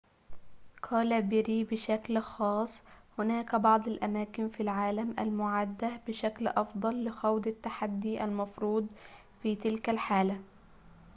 قال بيري بشكل خاص هناك بعض الأماكن في العالم المُعدة بشكل أفضل لخوض التحدي المفروض في تلك الحالة